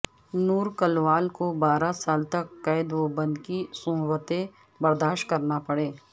نور کلوال کو بارہ سال تک قید و بند کی صعوبتیں برداشت کرنا پڑئیں